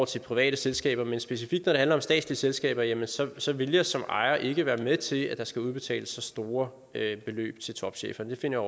til private selskaber men specifikt når det handler om statslige selskaber jamen så så vil jeg som ejer ikke være med til at der skal udbetales så store beløb til topchefer det finder